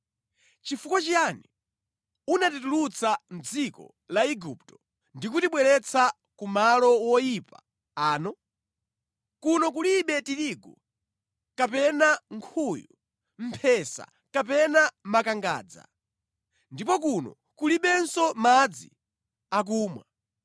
Nʼchifukwa chiyani unatitulutsa mʼdziko la Igupto ndi kutibweretsa kumalo woyipa ano? Kuno kulibe tirigu kapena nkhuyu, mphesa kapena makangadza. Ndipo kuno kulibenso madzi akumwa!”